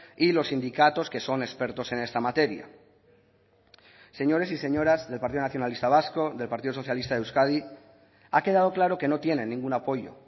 y los sindicatos que son expertos en esta materia señores y señoras del partido nacionalista vasco del partido socialista de euskadi ha quedado claro que no tienen ningún apoyo